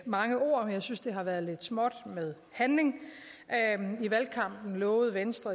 mange ord men jeg synes det har været lidt småt med handling i valgkampen lovede venstre